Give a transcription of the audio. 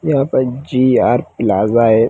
यहाँ पर G R. Plaza है।